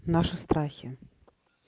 наши страхи